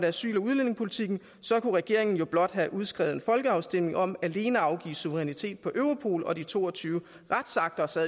asyl og udlændingepolitikken så kunne regeringen jo blot have udskrevet en folkeafstemning om alene at afgive suverænitet på europol og de to og tyve retsakter så